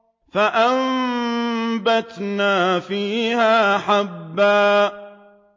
فَأَنبَتْنَا فِيهَا حَبًّا